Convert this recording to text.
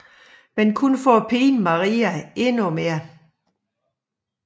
Men kun for at pine Maria endnu mere